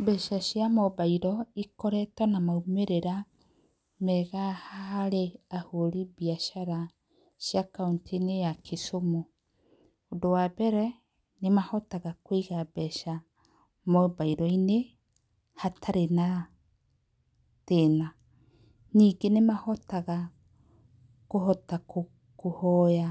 Mbeca cia mobairo cikoretwo na maimĩrĩra mega harĩ ahũri a biacara cia Kaũntĩ-inĩ ya Kisumu, ũndũ wa mbere nĩ mahotaga kũiga mbeca mobairo-inĩ hatarĩ na thĩna. Ningĩ nĩ mahotaga kũhota kũhoya